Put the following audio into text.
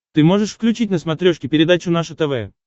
ты можешь включить на смотрешке передачу наше тв